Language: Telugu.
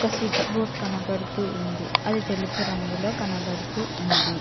స్విచ్ బోర్డు కనబడుతూ ఉంది అది తెలుపు రంగులో కనబడుతూ ఉంది.